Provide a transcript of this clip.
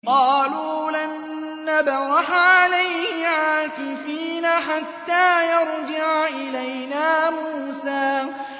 قَالُوا لَن نَّبْرَحَ عَلَيْهِ عَاكِفِينَ حَتَّىٰ يَرْجِعَ إِلَيْنَا مُوسَىٰ